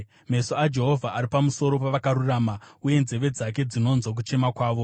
Meso aJehovha ari pamusoro pavakarurama uye nzeve dzake dzinonzwa kuchema kwavo;